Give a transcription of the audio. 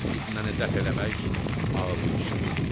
Fitnəni dəf eləmək ağıllı işdir.